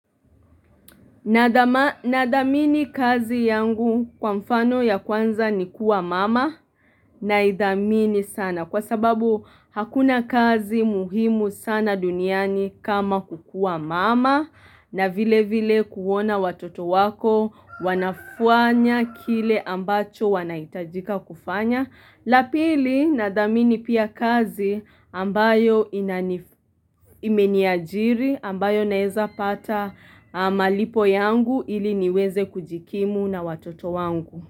Na dhamini kazi yangu kwa mfano ya kwanza ni kuwa mama na idhamini sana kwa sababu hakuna kazi muhimu sana duniani kama kukua mama na vile vile kuona watoto wako wanafanya kile ambacho wanaitajika kufanya. Lapili nadhamini pia kazi ambayo imeniajiri ambayo naeza pata malipo yangu ili niweze kujikimu na watoto wangu.